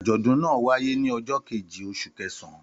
Àjọ̀dún náà wáyé ní ọjọ́ kejì oṣù kẹsàn-án.